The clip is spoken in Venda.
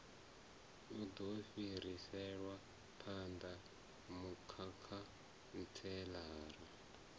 u do fhiriselwa phanda mukhantselara